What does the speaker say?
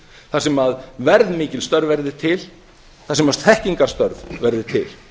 þar sem verðmikil störf verði til þar sem þekkingarstörf verði til